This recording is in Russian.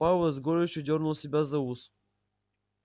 пауэлл с горечью дёрнул себя за ус